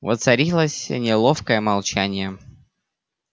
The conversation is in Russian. воцарилось неловкое молчание